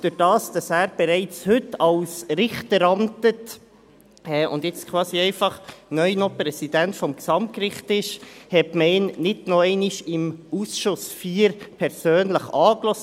Dadurch, dass er bereits heute als Richter amtet und jetzt quasi einfach neu Präsident des Gesamtgerichts ist, hat man ihn nicht noch einmal persönlich im Ausschuss IV angehört.